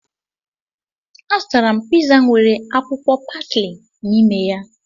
Azụtara m piza nwere akwụkwọ pasli n'ime ya